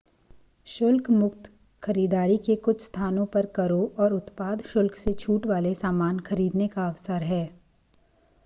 शुल्क मुक्त खरीदारी कुछ स्थानों पर करों और उत्पाद शुल्क से छूट वाले सामान खरीदने का अवसर है